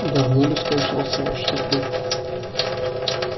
давно ли скончался ваш супруг